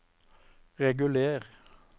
reguler